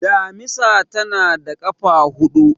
damisa tana da kafa hudu